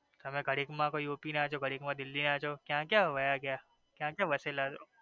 તમે ઘડીક માં કયો યુપી ના છો ઘડીક માં દિલ્હી ના છો ક્યાં ક્યાં વયા ગયા ક્યા ક્યા વસેલા છો.